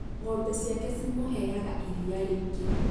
ng'ombe ciake cimũheaga iria rĩingĩ